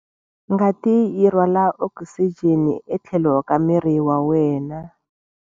Ngati yi rhwala okisijeni etlhelo ka miri wa wena.